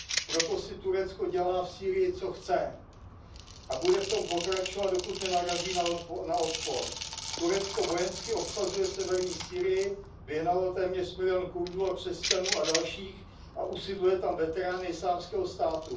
Proto si Turecko dělá v Sýrii, co chce, a bude v tom pokračovat, dokud nenarazí na odpor. Turecko vojensky obsazuje severní Sýrii, vyhnalo téměř milion Kurdů a křesťanů a dalších a usídluje tam veterány Islámského státu.